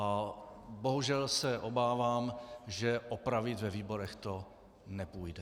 A bohužel se obávám, že opravit ve výborech to nepůjde.